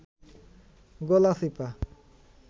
Galachipa